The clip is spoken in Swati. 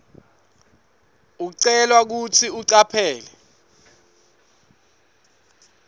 ucelwa kutsi ucaphele